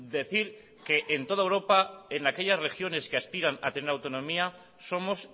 decir que en toda europa en aquellas regiones que aspiran a tener autonomía somos